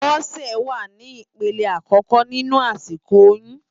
Bose wá ni ipélé àkòkò ninú àsikó óyùn